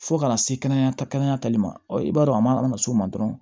Fo kana se kɛnɛya tali ma i b'a dɔn a man s'o ma dɔrɔn